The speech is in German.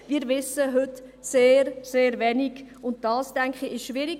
– Wir wissen heute sehr, sehr wenig, und das, denke ich, ist schwierig.